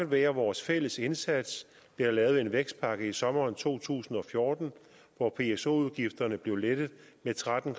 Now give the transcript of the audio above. være vores fælles indsats blev der lavet en vækstpakke i sommeren to tusind og fjorten hvor pso udgifterne blev lettet med tretten